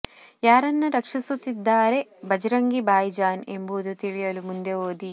ಯಾರನ್ನ ರಕ್ಷಿಸುತ್ತಿದ್ದಾರೆ ಭಜರಂಗಿ ಭಾಯ್ ಜಾನ್ ಎಂಬುದು ತಿಳಿಯಲು ಮುಂದೆ ಓದಿ